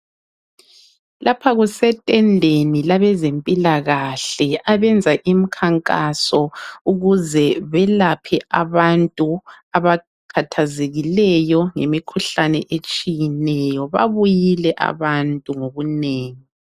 Lapha kusetendeni labezempilakahle abenza imkhankaso ukuze belaphe abantu abakhathazekileyo. Babuyile abantu ngobunengi.